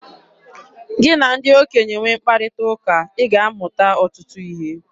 Gị na ndị okenye nwee mkparịta ụka, ị ga-amụta ọtụtụ ihe.